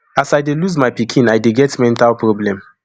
as i dey lose my pikin i dey get mental problem